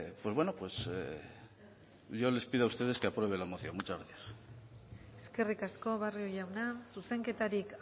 pues bueno yo les pido a ustedes que aprueben la moción muchas gracias eskerrik asko barrio jauna zuzenketarik